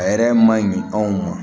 A yɛrɛ ma ɲi anw ma